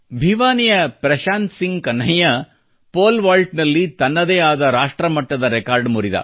ಭಿವಾನಿಯ ಪ್ರಶಾಂತ್ ಸಿಂಗ್ ಕನ್ಹಯ್ಯ ಪೋಲ್ವಾಲ್ಟ್ನಲ್ಲಿ ತನ್ನದೇ ಆದ ರಾಷ್ಟ್ರಮಟ್ಟದ ರೆಕಾರ್ಡ್ ಮುರಿದ